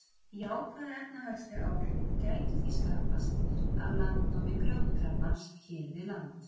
Jákvæð efnahagsleg áhrif gætu því skapast af landnámi grjótkrabbans hér við land.